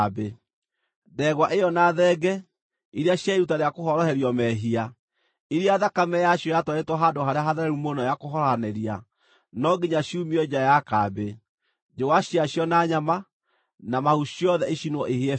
Ndegwa ĩyo na thenge, iria cia iruta rĩa kũhoroherio mehia, iria thakame yacio yatwarĩtwo Handũ-harĩa-Hatheru-Mũno ya kũhorohanĩria, no nginya ciumio nja ya kambĩ; njũa ciacio na nyama, na mahu ciothe icinwo ihĩe biũ.